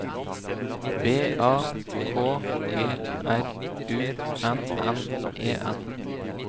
B A K G R U N N E N